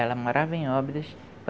Ela morava em Óbidos.